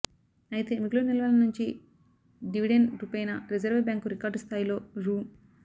అయితే మిగులు నిల్వల నుంచి డివిడెండ్ రూపేణా రిజర్వ్ బ్యాంకు రికార్డ్ స్థాయిలో రూ